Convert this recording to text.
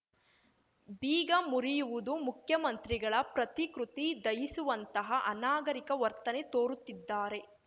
ಬೀಗ ಮುರಿಯುವುದು ಮುಖ್ಯಮಂತ್ರಿಗಳ ಪ್ರತಿಕೃತಿ ದಹಿಸುವಂತಹ ಅನಾಗರಿಕ ವರ್ತನೆ ತೋರುತ್ತಿದ್ದಾರೆ